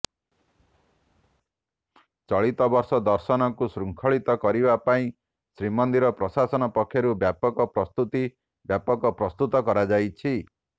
ଚଳିତ ବର୍ଷ ଦର୍ଶନକୁ ଶୃଙ୍ଖଳିତ କରିବା ପାଇଁ ଶ୍ରୀମନ୍ଦିର ପ୍ରଶାସନ ପକ୍ଷରୁ ବ୍ୟାପକ ପ୍ରସ୍ତୁତି ବ୍ୟାପକ ପ୍ରସ୍ତୁତ କରାଯାଇଛି